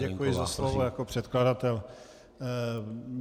Děkuji za slovo jako předkladatel.